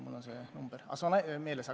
Mul on see number meeles.